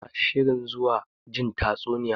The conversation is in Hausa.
Muna shirin zuwa jin tatsuniya.